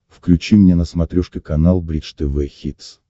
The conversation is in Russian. включи мне на смотрешке канал бридж тв хитс